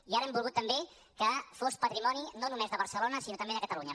i ara hem volgut també que fos patrimoni no només de barcelona sinó també de catalunya